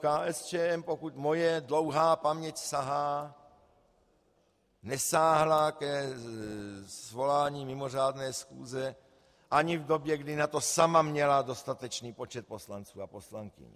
KSČM, pokud moje dlouhá paměť sahá, nesáhla ke svolání mimořádné schůze ani v době, kdy na to sama měla dostatečný počet poslanců a poslankyň.